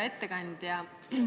Hea ettekandja!